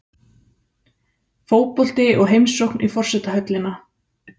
Fótbolti og heimsókn í forsetahöllina